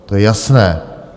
To je jasné.